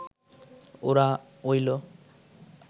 ওরা অইল